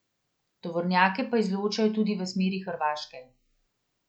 Tovornjake pa izločajo tudi v smeri Hrvaške.